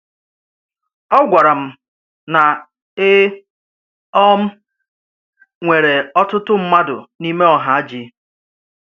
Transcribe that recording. O gwara m na e um nwere ọtụtụ mmadụ n’ime Ohaji.